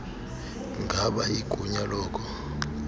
ngaba igunya loko